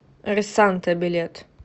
ресанта билет